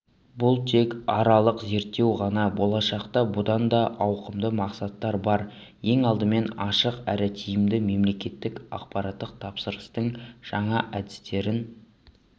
бұл тек аралық зерттеу ғана болашақта бұдан да ауқымды мақсаттар бар ең алдымен ашық әрі тиімді мемлекеттік ақпараттық тапсырыстың жаңа әдістерін